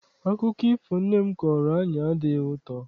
Akụkọ ifo nne m kọọrọ anyị adịghị ụtọ.